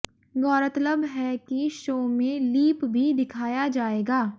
गौरतलब है कि शो में लीप भी दिखाया जाएगा